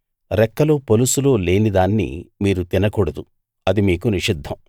రెక్కలు పొలుసులు లేని దాన్ని మీరు తినకూడదు అది మీకు నిషిద్ధం